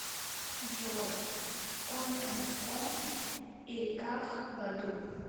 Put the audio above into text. джой он энд он эриках баду